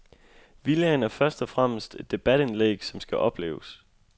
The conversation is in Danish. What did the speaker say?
Villaen er først og fremmest et debatindlæg som skal opleves.